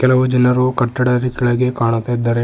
ಹಲವು ಜನರು ಕಟ್ಟಡದ ಕೆಳಗೆ ಕಾಣುತ್ತಾ ಇದ್ದಾರೆ.